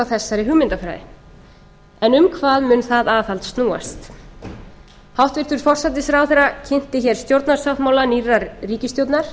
þessari hugmyndafræði en um hvað mun það aðhald snúast hæstvirtur forsætisráðherra kynnti hér stjórnarsáttmála nýrrar ríkisstjórnar